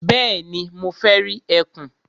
Bẹ́ẹ̀ni, mo fẹ́ rí ẹkùn.